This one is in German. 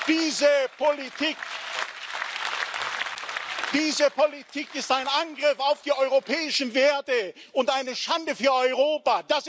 Diese Politik ist ein Angriff auf die europäischen Werte und eine Schande für Europa.